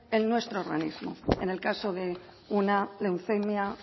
en nuestro organismo en el caso de una leucemia